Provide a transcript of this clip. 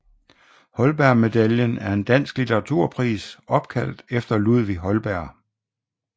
Holbergmedaljen er en dansk litteraturpris opkaldt efter Ludvig Holberg